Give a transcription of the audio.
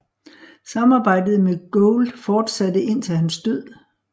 Samarbejdet med Gould fortsatte indtil hans død